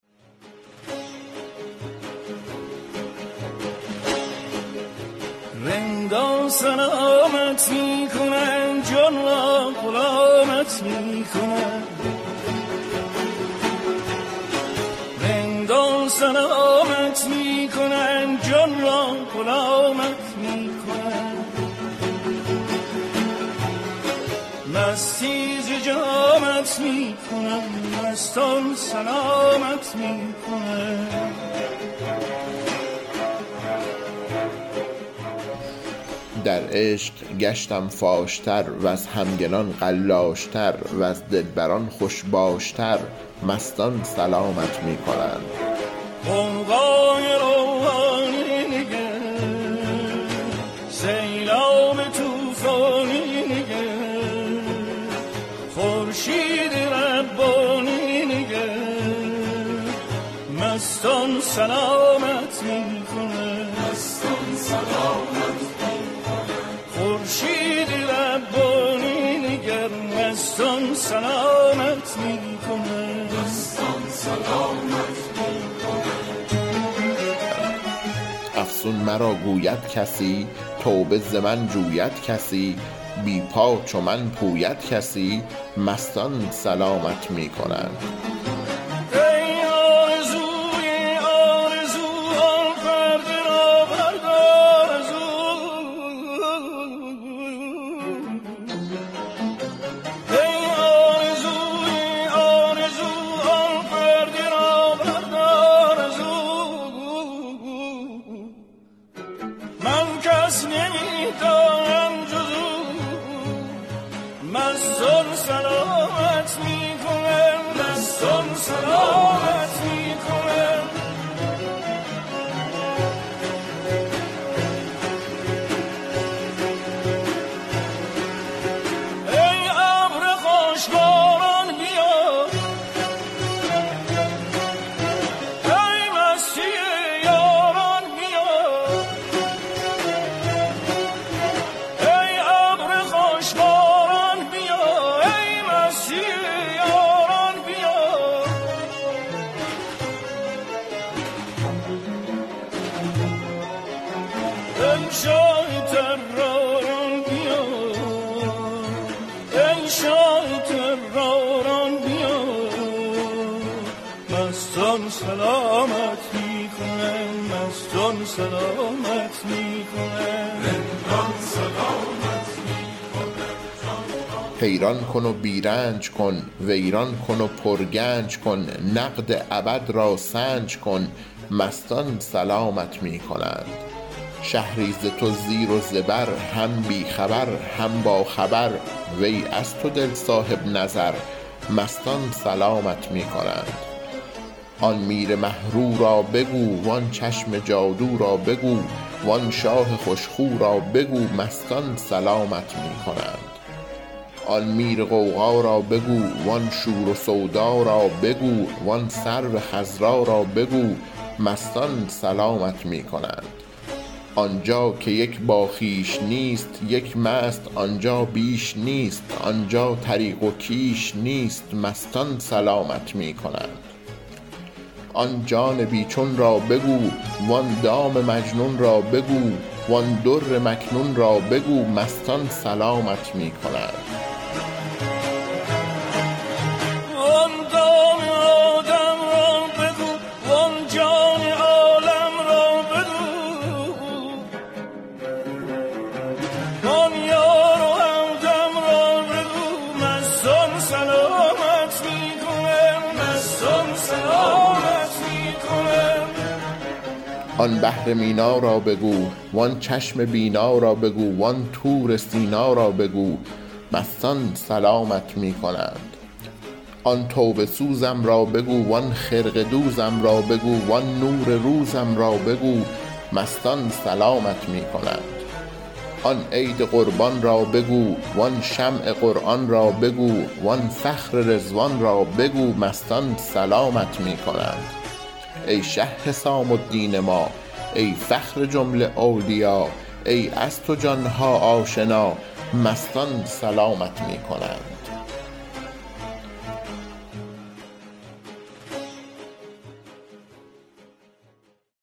رندان سلامت می کنند جان را غلامت می کنند مستی ز جامت می کنند مستان سلامت می کنند در عشق گشتم فاش تر وز همگنان قلاش تر وز دلبران خوش باش تر مستان سلامت می کنند غوغای روحانی نگر سیلاب طوفانی نگر خورشید ربانی نگر مستان سلامت می کنند افسون مرا گوید کسی توبه ز من جوید کسی بی پا چو من پوید کسی مستان سلامت می کنند ای آرزوی آرزو آن پرده را بردار زو من کس نمی دانم جز او مستان سلامت می کنند ای ابر خوش باران بیا وی مستی یاران بیا وی شاه طراران بیا مستان سلامت می کنند حیران کن و بی رنج کن ویران کن و پرگنج کن نقد ابد را سنج کن مستان سلامت می کنند شهری ز تو زیر و زبر هم بی خبر هم باخبر وی از تو دل صاحب نظر مستان سلامت می کنند آن میر مه رو را بگو وان چشم جادو را بگو وان شاه خوش خو را بگو مستان سلامت می کنند آن میر غوغا را بگو وان شور و سودا را بگو وان سرو خضرا را بگو مستان سلامت می کنند آن جا که یک باخویش نیست یک مست آن جا بیش نیست آن جا طریق و کیش نیست مستان سلامت می کنند آن جان بی چون را بگو وان دام مجنون را بگو وان در مکنون را بگو مستان سلامت می کنند آن دام آدم را بگو وان جان عالم را بگو وان یار و همدم را بگو مستان سلامت می کنند آن بحر مینا را بگو وان چشم بینا را بگو وان طور سینا را بگو مستان سلامت می کنند آن توبه سوزم را بگو وان خرقه دوزم را بگو وان نور روزم را بگو مستان سلامت می کنند آن عید قربان را بگو وان شمع قرآن را بگو وان فخر رضوان را بگو مستان سلامت می کنند ای شه حسام الدین ما ای فخر جمله اولیا ای از تو جان ها آشنا مستان سلامت می کنند